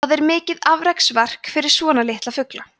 það er mikið afreksverk fyrir svona litla fugla